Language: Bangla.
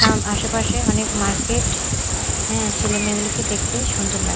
আশেপাশে অনেক মার্কেট হ্যাঁ ছেলে মেয়ে গুলোকে দেখতে সুন্দর লাগ--